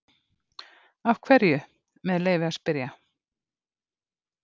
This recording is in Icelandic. Af hverju, með leyfi að spyrja?